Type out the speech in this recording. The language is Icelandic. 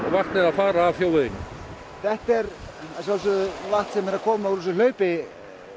vatnið að fara af þjóðveginum þetta er að sjálfsögðu vatn sem er að koma úr þessu hlaupi